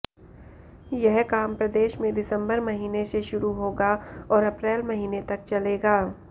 यह काम प्रदेश में दिसंबर महीने से शुरू होगा और अप्रैल महीने तक चलेगा